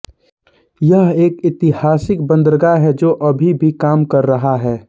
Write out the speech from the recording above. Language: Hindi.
यह एक ऐतिहासिक बंदरगाह है जो अभी भी काम कर रहा है